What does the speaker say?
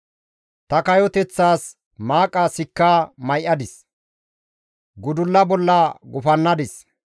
«Ta kayoteththas maaqa sikka may7adis; gudulla bolla gufannadis.